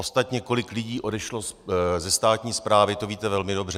Ostatně kolik lidí odešlo ze státní správy, to víte velmi dobře.